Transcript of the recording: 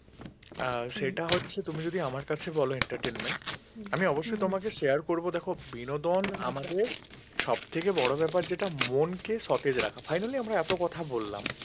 সবথেকে বড় ব্যাপার যেটা মনকে সতেজ রাখা finally আমরা এত কথা বললাম